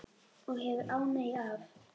Og hefur ánægju af.